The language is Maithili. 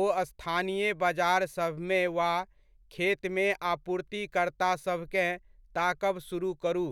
ओ स्थानीय बजारसभमे वा खेतमे आपूर्तिकर्तासभकेँ ताकब सुरुह करू।